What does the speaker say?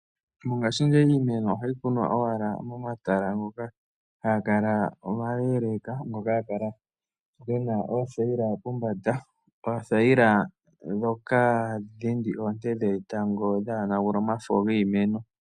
Mongashingeyi iimeno ohayi kunwa owala momatala ngoka haga kala omaleleka. Ngoka haga kala gena oothaila pombanda. Oothayila dhoka hadhi dhindi oonte dhetango dhaa yonagule omafo giimeno.